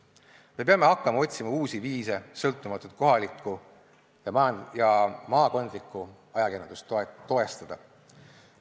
Me peame hakkama otsima uusi viise sõltumatut kohalikku ja maakondlikku ajakirjandust toestada.